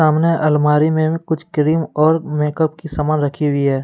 सामने अलमारी में कुछ क्रीम और मेक अप की सामान रखी हुई है।